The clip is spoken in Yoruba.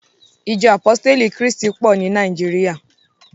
Ìjọ àpọ́stélì ti Krístí pọ̀ ní Nàìjíríà.